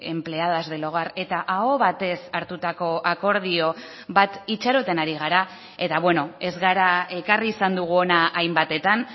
empleadas del hogar eta aho batez hartutako akordio bat itxaroten ari gara eta beno ez gara ekarri izan dugu hona hainbatetan